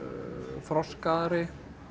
þroskaðri